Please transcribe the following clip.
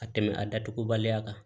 Ka tɛmɛ a datugubaliya kan